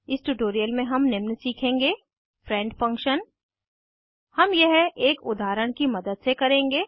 इस ट्यूटोरियल में हम निम्न सीखेंगे फ्रेंड फंक्शन हम यह एक उदाहरण की मदद से करेंगे